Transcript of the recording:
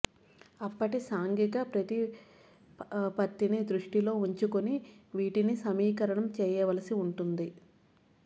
అప్పటి సాంఘిక ప్రతిపత్తిని దృష్టిలో ఉంచుకుని వీటిని సమీకరణం చేయవలసి వుంటుంది